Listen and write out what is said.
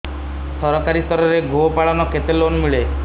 ସରକାରୀ ସ୍ତରରେ ଗୋ ପାଳନ ପାଇଁ କେତେ ଲୋନ୍ ମିଳେ